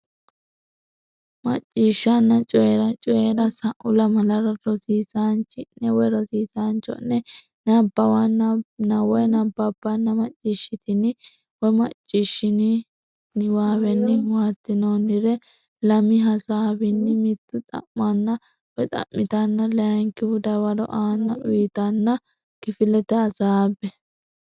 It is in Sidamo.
Macciishshanna Coyi ra Coyi ra Sa u lamalara rosiisaanchi ne cho ne nabbawanna bbanna macciishshitini niwaawenni huwaattinoonnire lami hasaawunni mittu xa manna tanna layinkihu dawaro aanna uytanna kifilete hasaabbe.